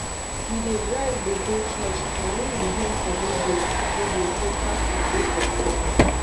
we dey drive dey go church na im we hear for radio radio say traffic dey for front